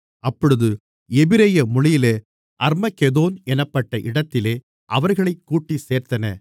அப்பொழுது எபிரெய மொழியிலே அர்மகெதோன் என்னப்பட்ட இடத்திலே அவர்களைக் கூட்டிச் சேர்த்தன